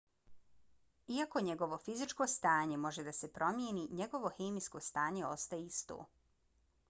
iako njegovo fizičko stanje može da se promijeni njegovo hemijsko stanje ostaje isto